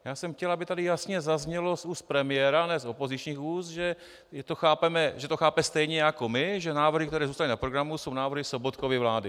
Já jsem chtěl, aby tady jasně zaznělo z úst premiéra, ne z opozičních úst, že to chápe stejně jako my, že návrhy, které zůstaly na programu, jsou návrhy Sobotkovy vlády.